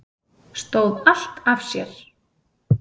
Stóð allt af sér